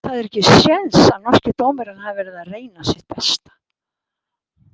Það er ekki séns að norski dómarinn hafi verið að reyna sitt besta.